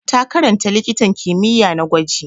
Ta karanta likitan kimiyya na gwaji.